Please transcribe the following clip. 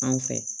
Anw fɛ